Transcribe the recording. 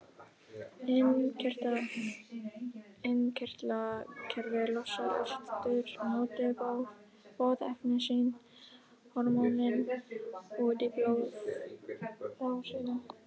Innkirtlakerfið losar aftur á móti boðefni sín, hormónin, út í blóðrásina.